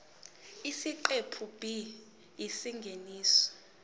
isiqephu b isingeniso